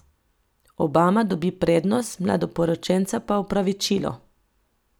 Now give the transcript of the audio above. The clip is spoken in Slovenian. Obama dobi prednost, mladoporočenca pa opravičilo.